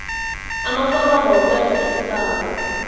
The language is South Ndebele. amaforomo wokwenza isibawo